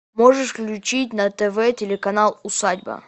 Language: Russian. можешь включить на тв телеканал усадьба